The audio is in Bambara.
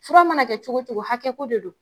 Fura mana kɛ cogo cogo hakɛ ko de don.